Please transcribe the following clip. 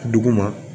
Duguma